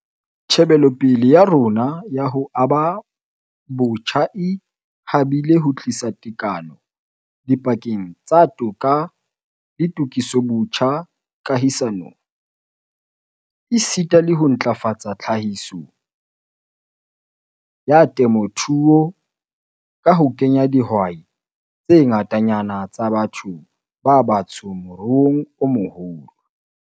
Tjhebelopele ya rona ya ho aba botjha e habile ho tlisa tekano dipakeng tsa toka le tokisobotjha kahisanong, esita le ho ntlafatsa tlhahiso ya temothuo ka ho kenya dihwai tse ngatanyana tsa batho ba batsho moruong o moholo.